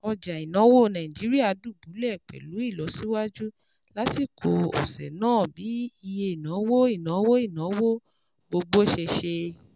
Ọjà ìnáwó Nàìjíríà dùbúlẹ̀ pẹ̀lú ìlọsíwájú lásìkò ọ̀sẹ̀ náà bí iye ìnáwó ìnáwó ìnáwó gbogbo ṣe ṣe